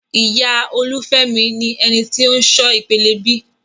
Ìyá Olufemi ni eni ti o n ṣọ ìpele B.